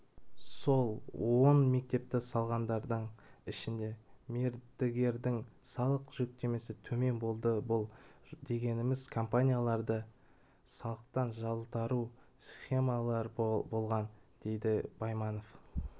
сол он мектепті салғандардың ішінде мердігердің салық жүктемесі төмен болды бұл дегеніміз ол компанияларда салықтан жалтару сіемалары болған дейді байманов